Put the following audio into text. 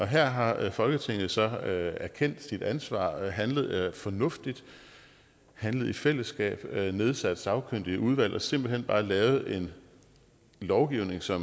her har folketinget så erkendt sit ansvar og handlet fornuftigt handlet i fællesskab nedsat sagkyndige udvalg og simpelt hen bare lavet en lovgivning så